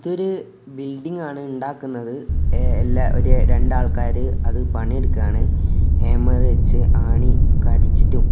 ഇതൊരു ബിൽഡിങ് ആണ് ഇണ്ടാക്കുന്നത് എ എല്ല ഒരു രണ്ടാൾക്കാര് അത് പണിയെടുക്കാണ് ഹേമ്മറ് വെച്ച് ആണി ഒക്കെ അടിച്ചിട്ടും.